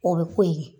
O bɛ pori